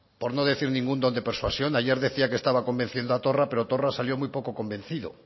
por no decir ningún don de persuasión ayer decía que estaba convenciendo a torra pero torra salió muy poco convencido